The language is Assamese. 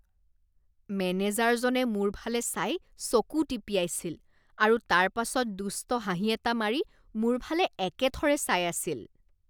মেনেজাৰজনে মোৰ ফালে চাই চকু টিপিয়াইছিল আৰু তাৰপাছত দুষ্ট হাঁহি এটা মাৰি মোৰ ফালে একেথৰে চাই আছিল।